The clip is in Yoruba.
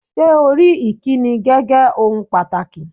Ṣé́ o rí ìkíni gẹ́gé ohun pàtàkì?